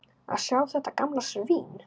Að sjá þetta gamla svín.